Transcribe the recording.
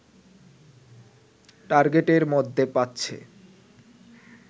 টার্গেটের মধ্যে পাচ্ছে